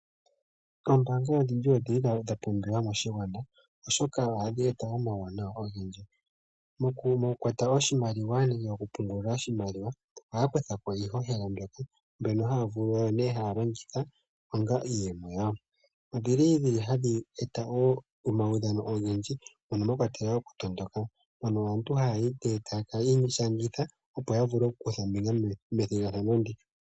Ombaanga odhindji odha pumbiwa moshilongo, oshoka ohadhi eta uuwanawa owundji. Mokukwata oshimaliwa nenge mokupungula oshimaliwa ohaya kutha po iihohela mbyoka haya longitha onga iiyemo yawo. Ohadhi eta wo omaudhano ogendji mono mwa kwatelwa okutondoka mono aantu haya ishangitha, opo ya vule okukutha ombinga methigathano ndika.